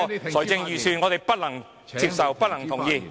但這份預算案，我們不能同意。